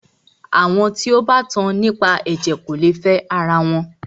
Àwọn tí o bá tan nípa ẹ̀jẹ̀ kò lè fẹ ara wọn.